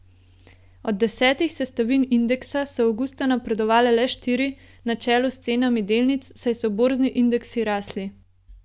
Od desetih sestavin indeksa so avgusta napredovale le štiri na čelu s cenami delnic, saj so borzni indeksi rasli.